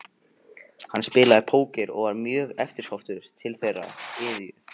Hann spilaði póker og var mjög eftirsóttur til þeirrar iðju.